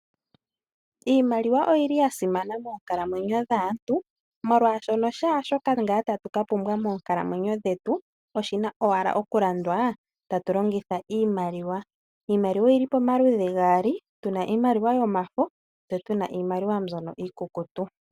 Iimaliwa oyili ya simana moonkalamwenyo dhaantu molwaashono kehe shoka tatu ka pumbwa monkalamwenyo dhetu, oshina owala okulandwa, tatu longitha iimaliwa. Iimaliwa oyili pamaludhi gaali tuna iimaliwa yomafo tse tuna iimaliwa mbyono iikukutu.